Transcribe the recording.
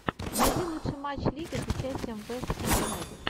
найди лучший матч лиги с участием вест хэм юнайтед